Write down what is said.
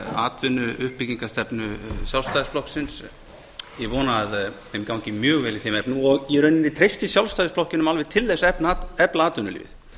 atvinnuuppbyggingar stefnu sjálfstæðisflokksins ég vona að þeim gangi mjög vel í þeim efnum og í raun og veru treysti sjálfstæðisflokknum alveg til þess að efla atvinnulífið